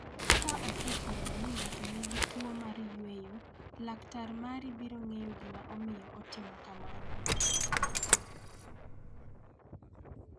Ka osefwenyo ni ng�ato nigi tuo mar yweyo, laktar mari biro ng�eyo gima omiyo otimo kamano.